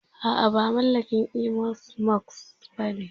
A'a ba mallakin Ilon Mos bane